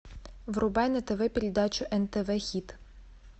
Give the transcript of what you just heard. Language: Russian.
врубай на тв передачу нтв хит